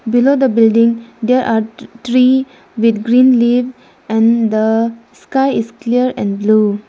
Below the building there are tree with green leaf and the sky is clear and blue.